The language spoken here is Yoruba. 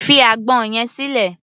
Fi àgbọn yẹn sílẹ̀!